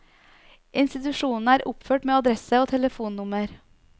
Institusjonene er oppført med adresse og telefonnummer.